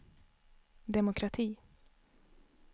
demokrati